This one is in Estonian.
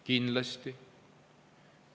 Kindlasti.